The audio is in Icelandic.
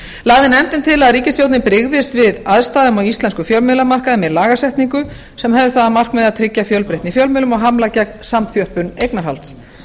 lagði nefndin til að ríkisstjórnin brygðist við aðstæðum á íslenskum fjölmiðlamarkaði með lagasetningu sem hefði það að markmiði að tryggja fjölbreytni í fjölmiðlun og hamla gegn samþjöppun eignarhalds